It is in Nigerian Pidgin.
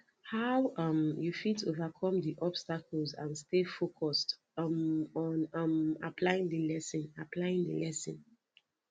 how um you fit overcome di obstacles and stay focused um on um applying di lesson applying di lesson